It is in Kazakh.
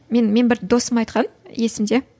мен мен бір досым айтқан есімде